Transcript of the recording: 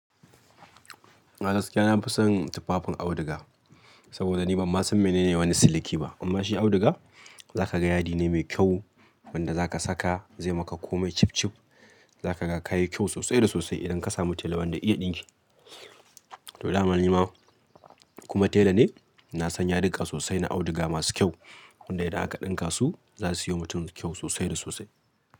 A gaskiya na fi son tufafin auduga saboda ni ban ma san menene wani siliki ba. Amma shi auduga za ka ga yadi ne mai kyau wanda za ka saka zai maka komai cib-cib. Za ka ga ka yi kyau sosai da sosai idan ka samu tela wanda iya ɗinke. To, da ma nima kuma tela ne. Na san yadika sosai na auduga masu kyau wanda idan aka ɗinka su za su yi wa mutum kyau sosai da sosai.